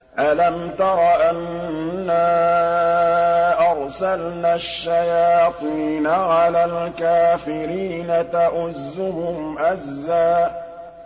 أَلَمْ تَرَ أَنَّا أَرْسَلْنَا الشَّيَاطِينَ عَلَى الْكَافِرِينَ تَؤُزُّهُمْ أَزًّا